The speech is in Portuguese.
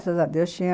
Graças a Deus tinha...